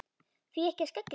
Því ekki að skella sér?